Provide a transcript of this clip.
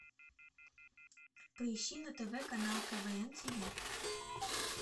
поищи на тв канал квн тв